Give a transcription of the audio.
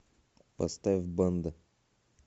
поставь банда